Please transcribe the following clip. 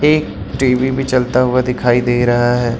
एक टी_वी भी चलता हुआ दिखाई दे रहा है।